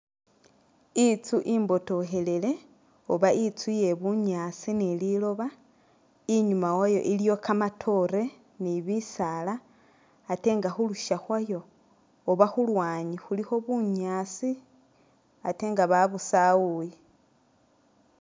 Itsu imbotokhelele oba intsu lye bunyaasi ni liloba inyuma wayo iliyo kamatoore ni bisaala ate nga khulusha khwayo oba khulwanyi khulikho bunyaasi ate nga babusawuye